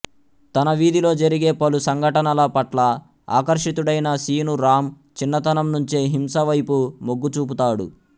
తన వీధిలో జరిగే పలు సంఘటనల పట్ల ఆకర్షితుడైన శీను రామ్ చిన్నతనం నుంచే హింస వైపు మొగ్గుచూపుతాడు